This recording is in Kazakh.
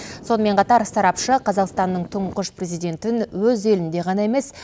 сонымен қатар сарапшы қазақстанның тұңғыш президентін өз елінде ғана емес